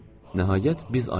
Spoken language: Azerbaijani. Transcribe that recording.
Nəhayət, biz ayrıldıq.